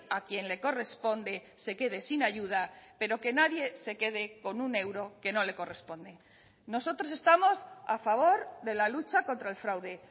a quien le corresponde se quede sin ayuda pero que nadie se quede con un euro que no le corresponde nosotros estamos a favor de la lucha contra el fraude